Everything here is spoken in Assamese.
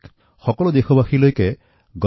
গণেশ চতুৰ্থীৰ এই মহাপৰ্ব ১০ দিন ধৰি চলে